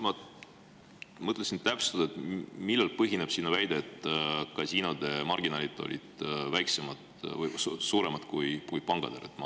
Ma mõtlesin täpsustada, millel põhineb sinu väide, et kasiinode marginaalid olid väiksemad või suuremad kui pankadel.